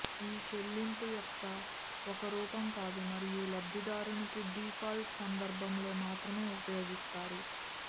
ఈ చెల్లింపు యొక్క ఒక రూపం కాదు మరియు లబ్దిదారునికి డిఫాల్ట్ సందర్భంలో మాత్రమే ఉపయోగిస్తారు